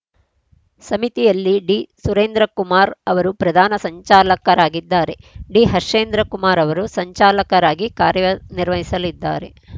ಸಮಿತಿಯಲ್ಲಿ ಡಿಸುರೇಂದ್ರಕುಮಾರ್‌ ಅವರು ಪ್ರಧಾನ ಸಂಚಾಲಕರಾಗಿದ್ದಾರೆ ಡಿಹರ್ಷೇಂದ್ರ ಕುಮಾರ್‌ ಅವರು ಸಂಚಾಲಕರಾಗಿ ಕಾರ್ಯನಿರ್ವಹಿಸಲಿದ್ದಾರೆ